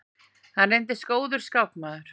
Hann reyndist góður skákmaður.